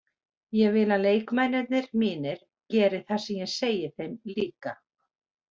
Ég vil að leikmennirnir mínir geri það sem ég segi þeim líka.